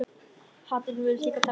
Hatrinu virðast lítil takmörk sett.